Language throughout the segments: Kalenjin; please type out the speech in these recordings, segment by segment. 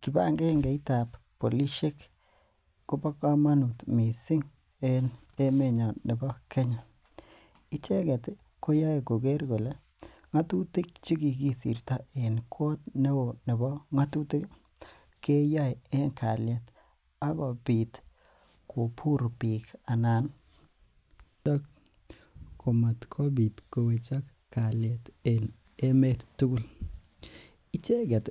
kibagengeit ab polisiek kobo komonut missing en emenyon nebo kenya icheget koyoe koger kole ng'atutik chekikisirto en koot neo nebo ng'atutik ii nekiyoen en kaliet ak kobit kobur biik anan komatkobit kowechok kalyet en emet tugul, icheget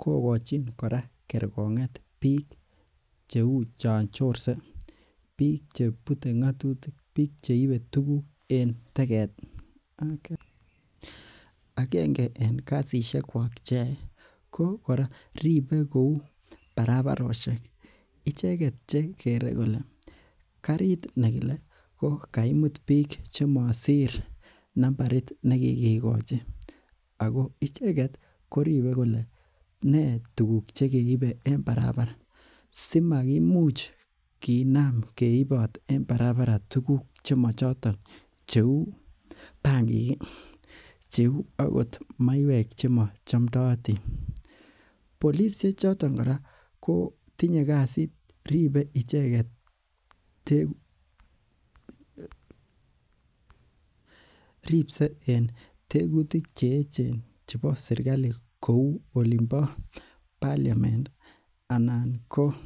kokochin kora kerkong'et biik cheu chon chorse, biik chebute ng'atutik, biik cheibe tuguk en teget, agenge en kasisiekwak cheyoe ko ribe kou barabarosyek, icheget kole kariit nekile komaimut biik chesire nambait nekigikochi ako icheget koribe kole ne tukuk chekeibe en barabara simakimuch keibot tukuk en barabara cheu bankiik i ak maiwek choton chemochomdootin, polisiek choton kora tinye kasiit, ripse en tegutik cheechen chebo serkali kou olimpo [c]parliament anan ko...